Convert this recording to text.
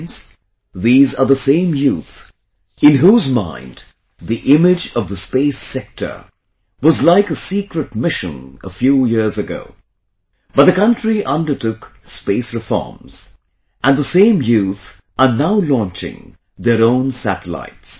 Friends, these are the same youth, in whose mind the image of the space sector was like a secret mission a few years ago, but, the country undertook space reforms, and the same youth are now launching their own satellites